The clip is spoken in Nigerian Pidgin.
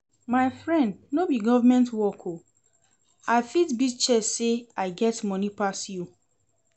My friend no be by government work oo, I fit beat chest say I get money pass you